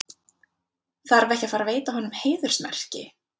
Þarf ekki að fara veita honum heiðursmerki?